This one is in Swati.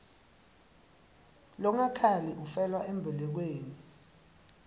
longakhali ufela embelekweni